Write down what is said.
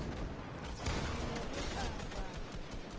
re ne re ka ra